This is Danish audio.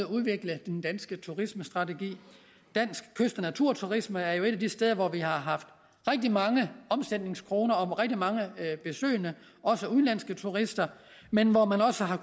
udvikle den danske turismestrategi dansk kyst og naturturisme er jo et af de steder hvor vi har haft rigtig mange omsætningskroner og rigtig mange besøgende også udenlandske turister men hvor man også har